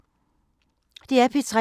DR P3